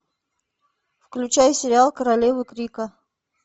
включай сериал королевы крика